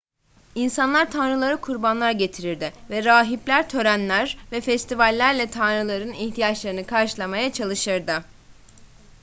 i̇nsanlar tanrılara kurbanlar getirirdi ve rahipler törenler ve festivallerle tanrıların ihtiyaçlarını karşılamaya çalışırdı